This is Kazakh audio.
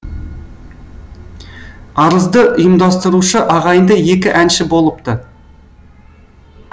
арызды ұйымдастырушы ағайынды екі әнші болыпты